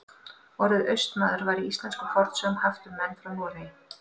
Orðið Austmaður var í íslenskum fornsögum haft um menn frá Noregi.